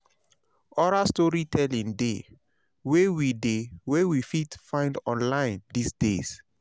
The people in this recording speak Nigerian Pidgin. oral storytelling de wey we de wey we fit find online these days